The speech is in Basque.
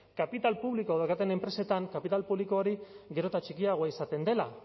kapital publikoa daukaten enpresetan kapital publiko hori gero eta txikiagoa izaten dela